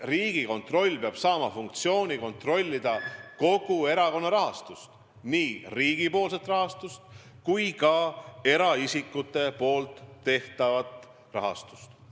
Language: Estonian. Riigikontroll peab saama funktsiooni kontrollida kogu erakonna rahastust, nii riigipoolset kui ka eraisikute tehtavat rahastust.